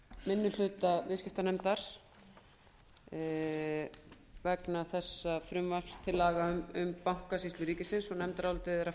minni hluta viðskiptanefndar vegna þessa frumvarps til laga um bankasýslu ríkisins nefndarálitið er að